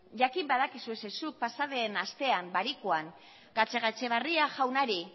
jakin badakizue ze zuk pasaden astean barikuan gatzagaetxebarria jaunari